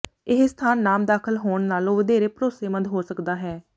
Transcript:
ਇਹ ਸਥਾਨ ਨਾਮ ਦਾਖਲ ਹੋਣ ਨਾਲੋਂ ਵਧੇਰੇ ਭਰੋਸੇਮੰਦ ਹੋ ਸਕਦਾ ਹੈ